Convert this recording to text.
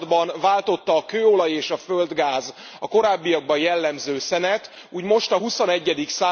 században váltotta a kőolaj és a földgáz a korábbiakban jellemző szenet, úgy most a XXI.